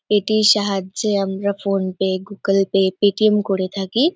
এটির সাহায্যে আমরা PhonePe Google Pay ..Paytm করে থাকি ।